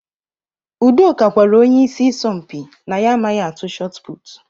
Udoka gwara onye ịsị isọmpi na ya amaghị atụ shotput.